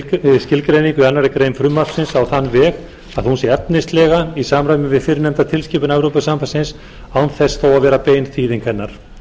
skilgreiningu í annarri grein frumvarpsins á þann veg að hún sé efnislega í samræmi við fyrrnefnda tilskipun evrópusambandsins án þess að vera bein þýðing hennar